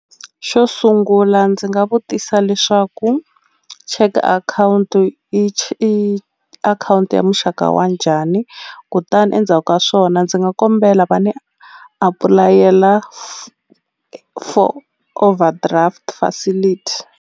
Xo sungula ndzi nga vutisa leswaku check akhawunti i akhawunti ya muxaka wa njhani kutani endzhaku ka swona ndzi nga kombela va ni apulayela for overdraft facility.